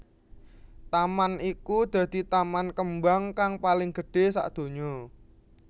Taman iku dadi taman kembang kang paling gedhé sadonya